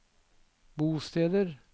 bosteder